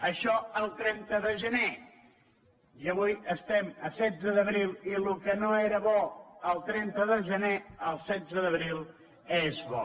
això el trenta de gener i avui estem a setze d’abril i el que no era bo el trenta de gener el setze d’abril és bo